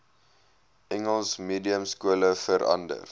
engels mediumskole verander